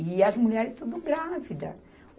E as mulheres tudo grávida.